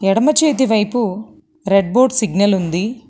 ఎడమ చేతివైపు రెడ్బోట్ సిగ్నల్ ఉంది.